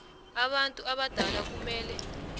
abantu abadala kumele